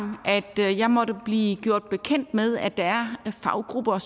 jeg måtte blive gjort bekendt med at der er faggrupper